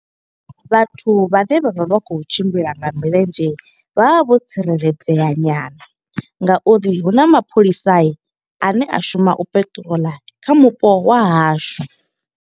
Vhathu vhane vha vha vha khou tshimbila nga milenzhe, vha vha vho tsireledzea nyana, Nga uri huna mapholisani ane a shuma u patrol kha mupo wa hashu.